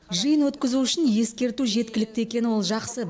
жиын өткізу үшін ескерту жеткілікті екені ол жақсы